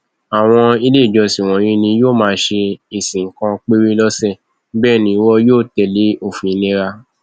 àwọn ilé ìjọsìn wọnyí ni yóò máa ṣe ìsìn kan péré lọsẹ bẹẹ ni wọn yóò tẹlé òfin ìlera